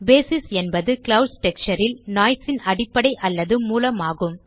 basis என்பது clouds texture ல் noise ன் அடிப்படை அல்லது மூலம் ஆகும்